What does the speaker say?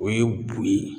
O ye bo ye